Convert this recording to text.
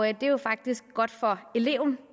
er jo faktisk godt for eleven